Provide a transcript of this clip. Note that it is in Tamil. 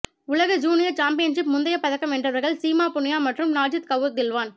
உலக ஜூனியர் சாம்பியன்ஷிப்பில் முந்தைய பதக்கம் வென்றவர்கள் சீமா புனியா மற்றும் நாஜீத் கவுர் தில்லான்